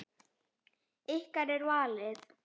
Ykkar er valið.